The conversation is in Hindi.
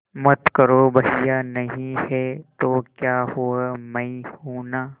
मत करो भैया नहीं हैं तो क्या हुआ मैं हूं ना